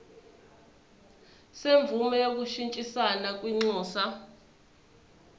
semvume yokushintshisana kwinxusa